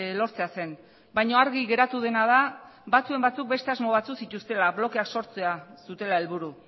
lortzea zen baina argi geratu dena da batzuen batzuk beste asmo batzuk zituztela blokeak sortzea zutela helburu